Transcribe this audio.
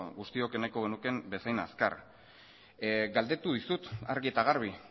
guztiok nahiko genukeen bezain azkar galdetu dizut argi eta garbi